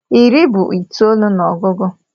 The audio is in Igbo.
Iri bụ itoolu n'ogugu